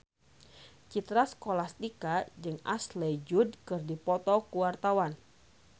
Citra Scholastika jeung Ashley Judd keur dipoto ku wartawan